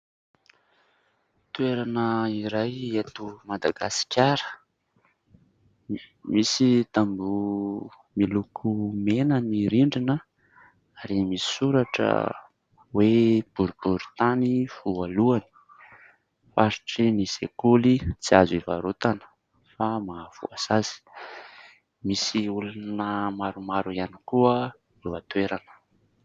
Toerana iray eto Madagasikara, misy tamboho miloko mena ny rindrina ary misy soratra hoe : "Boriboritany voalohany, faritry ny sekoly tsy azo hivarotana fa mahavoasazy". Misy olona maromaro ihany koa eo an-toerana.